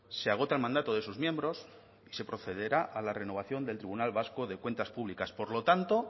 se agota el mandato de sus miembros y se procederá a la renovación del tribunal vasco de cuentas públicas por lo tanto